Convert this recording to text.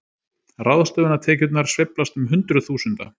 Ráðstöfunartekjurnar sveiflast um hundruð þúsunda